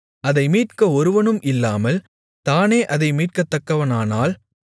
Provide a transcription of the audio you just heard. அதை மீட்க ஒருவனும் இல்லாமல் தானே அதை மீட்கத்தக்கவனானால்